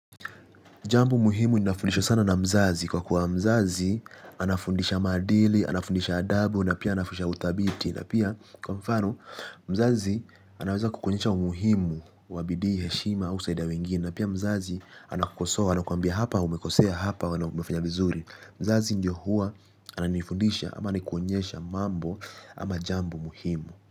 Jambo muhimu inafundishwa sana na mzazi kwa kuwa mzazi anafundisha maadili, anafundisha adabu na pia anafundisha udhabiti na pia kwa mfano mzazi anaweza kukuonyesha umuhimu wabidii, heshima, au kusaidia wengine na pia mzazi anakukosoa anakuambia hapa umekosea hapa umefanya vizuri. Mzazi ndio huwa ananifundisha ama anakuonyesha mambo ama jambo muhimu.